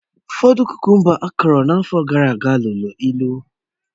Ụfọdụ kukumba akụrụ n'afọ gara aga liri ịlụ